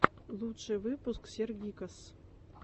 лучший выпуск сергиккас